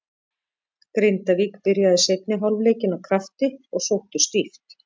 Grindavík byrjaði seinni hálfleikinn af krafti og sóttu stíft.